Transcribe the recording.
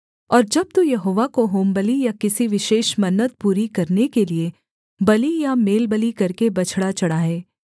और जब तू यहोवा को होमबलि या किसी विशेष मन्नत पूरी करने के लिये बलि या मेलबलि करके बछड़ा चढ़ाए